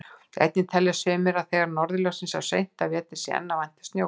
Einnig telja sumir að þegar norðurljós sjáist seint á vetri sé enn að vænta snjókomu.